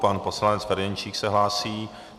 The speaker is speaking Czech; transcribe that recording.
Pan poslanec Ferjenčík se hlásí.